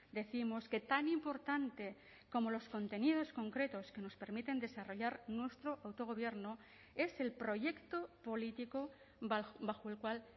décimos que tan importante como los contenidos concretos que nos permiten desarrollar nuestro autogobierno es el proyecto político bajo el cual